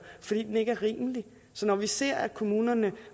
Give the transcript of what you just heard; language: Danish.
fordi den ikke er rimelig så når vi ser at kommunerne